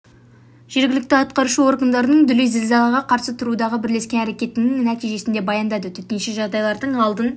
жергілікті атқарушы органдарының дүлей зілзалаға қарсы тұрудағы бірлескен әрекеттерінің нәтижесін де баяндады төтенше жағдайлардың алдын